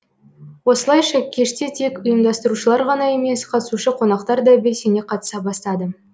осылайша кеште тек ұйымдастырушылар ғана емес катысушы қонақтар да белсене қатыса бастады